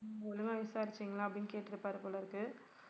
நீங்க ஒழுங்கா விசாரிச்சிங்களா அப்படின்னு கேட்டிருப்பாரு போலிருக்கு